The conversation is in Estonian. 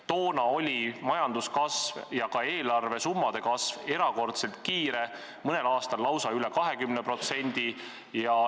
Toona oli majanduskasv ja ka eelarvesummade kasv erakordselt kiire, mõnel aastal lausa üle 20%.